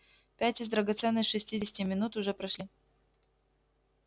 пять из драгоценных шестидесяти минут уже прошли